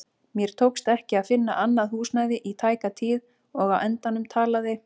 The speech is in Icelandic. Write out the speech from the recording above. Mér tókst ekki að finna annað húsnæði í tæka tíð og á endanum talaði